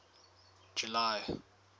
july